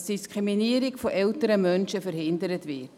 Die Diskriminierung von älteren Menschen soll verhindert werden.